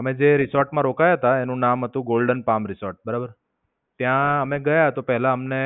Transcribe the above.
અમે જે રિસોર્ટ માં રોકાયા તા એનું નામ હતું Golden Palm Resort બરાબર. ત્યાં અમે ગયા તો પેલા અમને